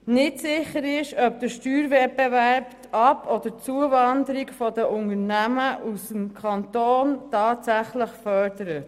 Nicht sicher ist, ob der Steuerwettbewerb die Ab- oder Zuwanderung von Unternehmen tatsächlich fördert.